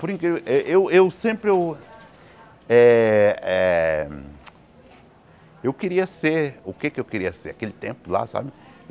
Por incrível eh... Eu eu sempre... Eu eh eh eu queria ser... O que eu queria ser o que é que eu queria ser aquele tempo lá, sabe?